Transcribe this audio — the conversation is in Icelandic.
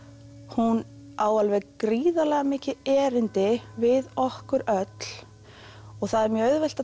hún á alveg gríðarlega mikið erindi við okkur öll og það er mjög auðvelt að